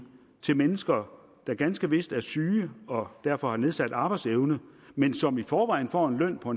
til mennesker der ganske vist er syge og derfor har nedsat arbejdsevne men som i forvejen får en løn på